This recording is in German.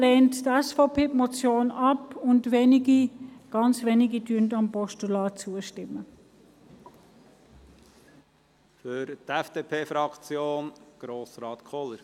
Deshalb lehnt die SVP die Motion ab, und wenige – ganz wenige – stimmen dem Postulat zu.